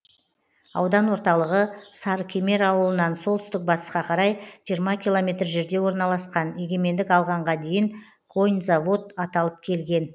аудан орталығы сарыкемер ауылынан солтүстік батысқа қарай жиырма километр жерде орналасқан егемендік алғанға дейін коньзавод аталып келген